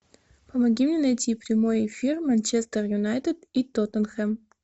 помоги мне найти прямой эфир манчестер юнайтед и тоттенхэм